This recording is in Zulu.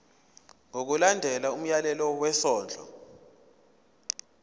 ngokulandela umyalelo wesondlo